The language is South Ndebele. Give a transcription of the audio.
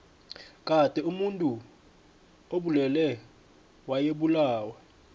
kade omuntu obulele wayebulawa